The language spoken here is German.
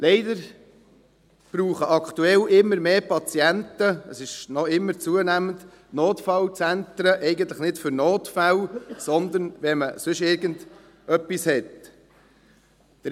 Leider brauchen aktuell immer mehr Patienten – es ist noch immer zunehmend – die Notfallzentren eigentlich nicht für Notfälle, sondern wenn sie sonst irgendetwas haben.